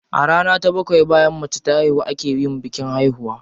A rana ta bakwai bayan mace ta haihu a ke yin bikin haihuwa.